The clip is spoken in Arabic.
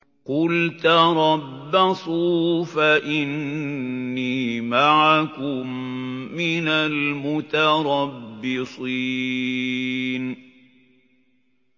قُلْ تَرَبَّصُوا فَإِنِّي مَعَكُم مِّنَ الْمُتَرَبِّصِينَ